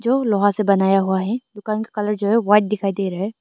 जो लोहा से बनाया हुआ है दुकान का कलर जो है व्हाइट दिखाई दे रहा है।